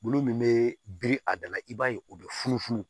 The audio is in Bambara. Bulu min be biri a da la i b'a ye u be funufunu